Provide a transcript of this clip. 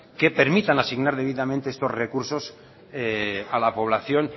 que permitan asignar debidamente estos recursos a la población